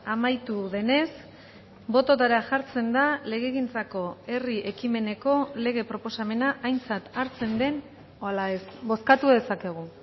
amaitu denez bototara jartzen da legegintzako herri ekimeneko lege proposamena aintzat hartzen den ala ez bozkatu dezakegu